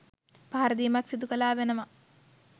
පහර දීමක් සිදු කලා වනවා.